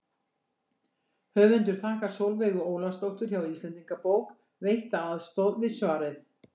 Höfundur þakkar Sólveigu Ólafsdóttur hjá Íslendingabók veitta aðstoð við svarið.